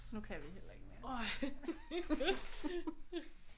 Nu kan vi heller ikke mere